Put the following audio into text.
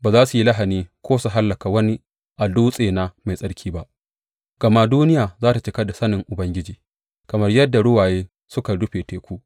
Ba za su yi lahani ko su hallaka wani a dutsena mai tsarki ba, gama duniya za tă cika da sanin Ubangiji kamar yadda ruwaye suka rufe teku.